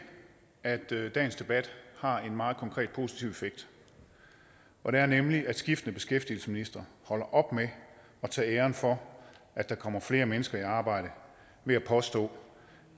at dagens debat har en meget konkret positiv effekt nemlig at skiftende beskæftigelsesministre holder op med at tage æren for at der kommer flere mennesker i arbejde ved at påstå